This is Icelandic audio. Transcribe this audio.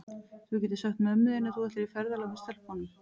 Þú getur sagt mömmu þinni að þú ætlir í ferðalag með stelpunum.